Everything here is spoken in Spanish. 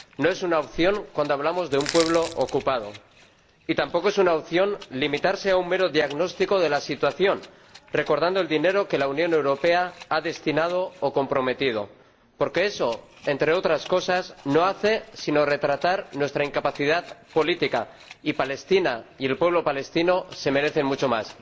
No es una opción cuando hablamos de un pueblo ocupado. Y tampoco es una opción limitarse a un mero diagnóstico de la situación recordando el dinero que la Unión Europea ha destinado o comprometido, porque eso, entre otras cosas, no hace sino retratar nuestra incapacidad política, y Palestina y el pueblo palestino se merecen mucho más.